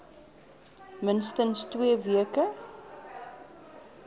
minstens twee weke